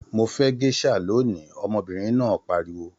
Mo fẹ gèsà lóni! ọmọbinrin náà pariwo.